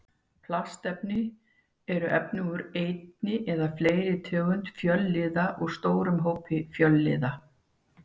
Plastefni eru efni úr einni eða fleiri tegundum fjölliða úr stórum hópi fjölliða.